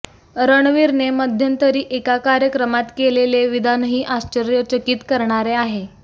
रणवीरने मध्यतंरी एका कार्यक्रमात केलेले विधानही आश्चर्यचकित करणारे आहे